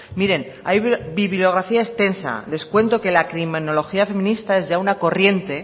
miren hay bibliografía extensa les cuento que la criminología feminista es ya una corriente